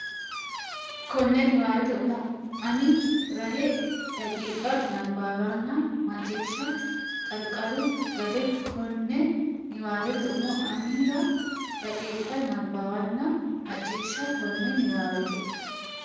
konne niwaawete umo ani rahe daqiiqa nabbawanna macciishshe Qarqaru Gade konne niwaawete umo ani rahe daqiiqa nabbawanna macciishshe konne niwaawete.